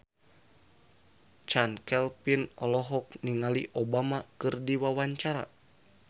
Chand Kelvin olohok ningali Obama keur diwawancara